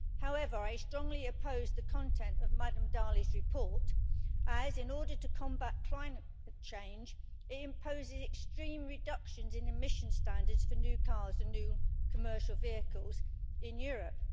However, I strongly oppose the content of Ms Dalli's report as, in order to combat climate change, it imposes extreme reductions in emissions standards for new cars and new commercial vehicles in Europe.